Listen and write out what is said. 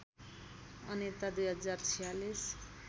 Anita २०४६